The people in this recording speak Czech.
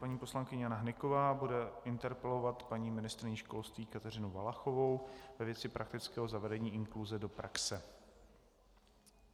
Paní poslankyně Jana Hnyková bude interpelovat paní ministryni školství Kateřinu Valachovou ve věci praktického zavedení inkluze do praxe.